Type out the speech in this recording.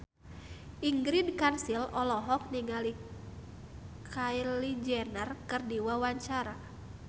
Ingrid Kansil olohok ningali Kylie Jenner keur diwawancara